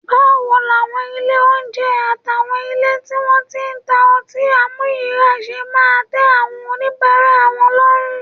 Báwo làwọn ilé oúnjẹ àtàwọn ilé tí wọ́n ti ń ta ọtí àmuyíràá ṣe máa tẹ́ àwọn oníbàárà lọ́rùn?